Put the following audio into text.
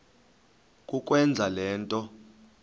kukwenza le nto